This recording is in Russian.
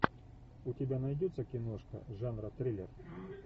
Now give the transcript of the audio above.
у тебя найдется киношка жанра триллер